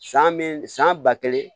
San min san ba kelen